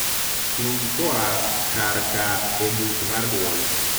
tug koa kar ka e buk mar duol